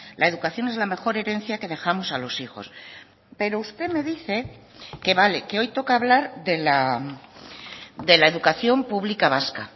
la educación es la mejor herencia que dejamos a los hijos pero usted me dice que vale que hoy toca hablar de la educación pública vasca